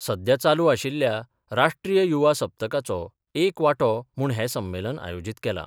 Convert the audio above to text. सध्या चालू आशिल्ल्या राष्ट्रीय युवा सप्तकाचो एक वांटो म्हूण हें संमेलन आयोजीत केलां.